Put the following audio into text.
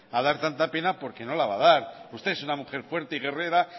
a dar tanta pena porque no la va a dar usted es una mujer fuerte y guerrera